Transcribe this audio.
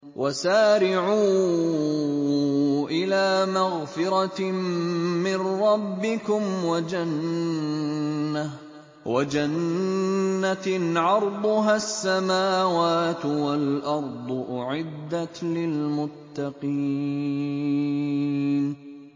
۞ وَسَارِعُوا إِلَىٰ مَغْفِرَةٍ مِّن رَّبِّكُمْ وَجَنَّةٍ عَرْضُهَا السَّمَاوَاتُ وَالْأَرْضُ أُعِدَّتْ لِلْمُتَّقِينَ